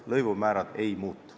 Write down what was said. Lõivumäärad ei muutu.